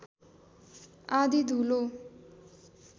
आँधी धूलो